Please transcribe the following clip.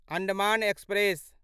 Andaman express